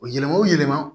O yɛlɛma o yɛlɛma